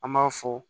An b'a fɔ